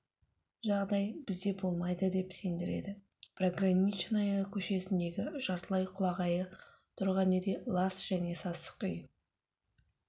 жағдай бізде болмайды деп сендіреді пограничная көшесіндегі жартылай құлағайы тұрған үйде лас және сасық үй